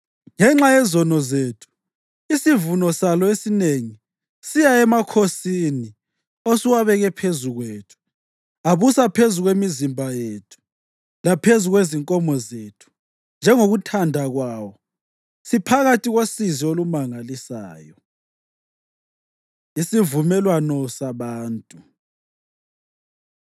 Ngenxa yezono zethu, isivuno salo esinengi siya emakhosini osuwabeke phezu kwethu. Abusa phezu kwemizimba yethu laphezu kwezinkomo zethu njengokuthanda kwawo. Siphakathi kosizi olumangalisayo.” Isivumelwano Sabantu